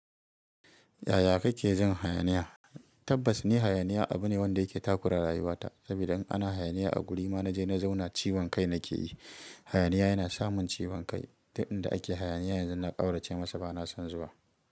Yaya kake jin hayaniya? Tabbas ni hayaniya abu ne wanda yake takura rayuwata. Saboda in ana hayaniya a guri ma na je na zauna ciwon kai nake yi. Hayaniya yana samun ciwon kai. Duk inda ake hayaniya yanzu na ƙaurace masa ba na son zuwa.